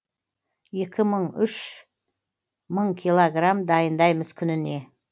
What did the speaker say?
екі мың үш мың киллограмм дайындаймыз күніне